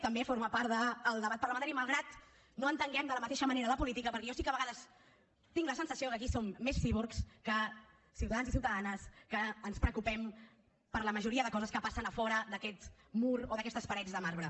també forma part del debat parlamentari malgrat que no entenguem de la mateixa manera la política perquè jo sí que a vegades tinc la sensació que aquí som més cíborgs que ciutadans i ciutadanes que ens preocupem per la majoria de coses que passen a fora d’aquest mur o d’aquestes parets de marbre